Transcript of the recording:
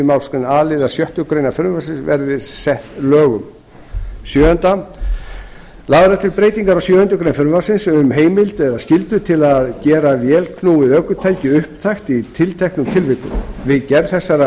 málsgrein a liðar sjöttu greinar frumvarpsins verði sagt lögum áttunda lagðar eru til breytingar á sjöundu greinar frumvarpsins um heimild eða skyldu til að gera vélknúið ökutæki upptækt í tilteknum tilvikum við gerð þessara